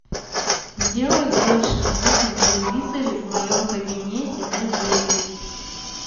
сделай больше звук на телевизоре в моем кабинете на девять